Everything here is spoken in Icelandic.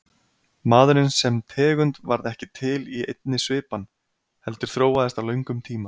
Maðurinn sem tegund varð ekki til í einni svipan heldur þróaðist á löngum tíma.